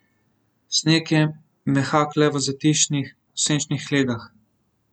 Sneg je mehak le v zatišnih, senčnih legah.